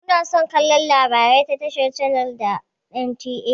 Muna son kallon labarai a tashar channels da NTA.